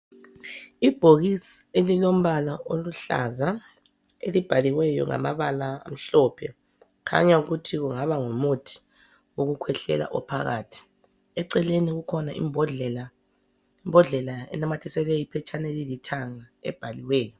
Ibhokisi elilombala oluhlaza elibhaliweyo ngamabala amhlophe .Kukhanya ukuthi kungaba ngumuthi wokukhwehlela ophakathi. Eceleni kukhona imbodlela. Imbodlela enanyathiselwe iphetshana elilithanga ebhaliweyo.